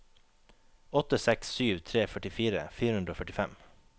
åtte seks sju tre førtifire fire hundre og førtifem